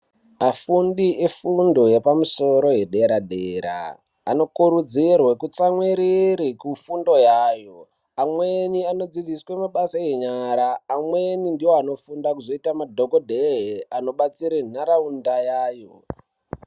Afundi efundo yepamusoro yedera dera anokurudzirwe kutsamwirere kufunde yayo amweni anodzidziswe mabasa enyara amweni ndiwo anofunda kuzoite madhokodhee anobatsire ntaraunda yayo.